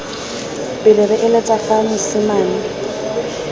pele re eletsa fa mosimane